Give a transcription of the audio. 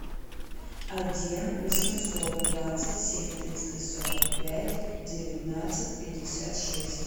один восемьсот двадцать семь триста сорок пять девятнадцать пятьдесят шесть